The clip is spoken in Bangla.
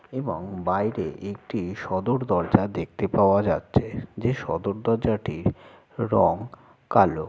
এবং বাইরে একটি সদর দরজা দেখতে পাওয়া যাছে যে সদর দরজাটির রং কালো।